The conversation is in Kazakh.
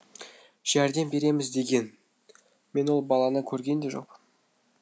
жәрдем береміз деген мен ол баланы көрген де жоқпын